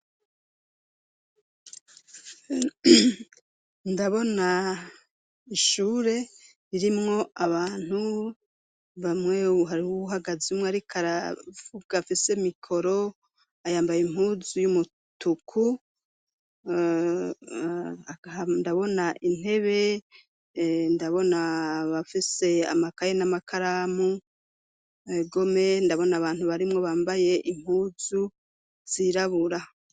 Ndabona ishure ririmwo abantu bamwewe hari uwuhagazemwe, ariko aravuga afise mikoro ayambaye impuzu y'umutuku ndabona intebe ndabona bafise amakaya n'amakaramu gome ndabona abantu barimwo bambaye inkuzu zirabura.